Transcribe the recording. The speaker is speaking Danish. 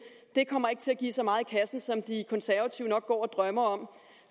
ikke kommer til at give så meget i kassen som de konservative nok går og drømmer om